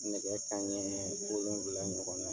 Nɛgɛ kanɲɛ wolonwula ɲɔgɔn na,